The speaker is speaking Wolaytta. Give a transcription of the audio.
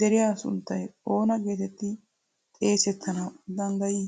deriya sunttay oona geetetti xeesettanawu danddayi?